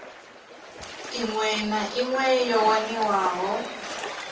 iṅwe na iṅwe yo waniwaho